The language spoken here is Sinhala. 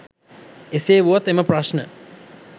එසේ වුවත් එම ප්‍රශ්න